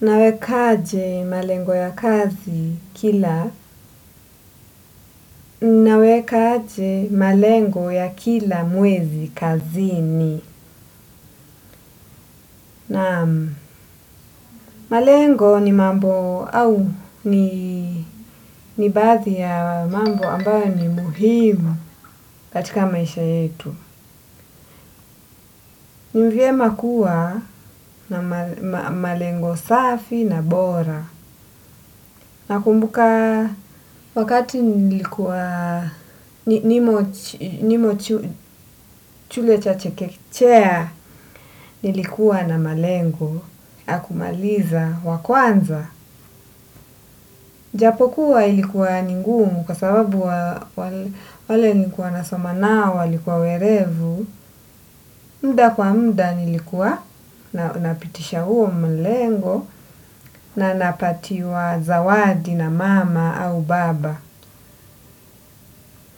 Nawekaje malengo ya kazi kila, nawekaje malengo ya kila mwezi kazini. Naam malengo ni mambo au ni baadhi ya mambo ambayo ni muhimu katika maisha yetu. Ni vyema kuwa na malengo safi na bora. Nakumbuka wakati nilikuwa nimo chule cha chekechea nilikuwa na malengo ya kumaliza wa kwanza. Japokuwa ilikuwa ni ngumu kwa sababu wale nilikuwa nasoma nao walikuwa werevu. Muda kwa muda nilikuwa napitisha huo mlengo na napatiwa zawadi na mama au baba.